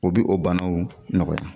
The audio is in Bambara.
U bɛ o bana o nɔgɔya